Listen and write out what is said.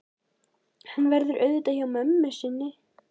Hann verður auðvitað hjá mömmu sinni.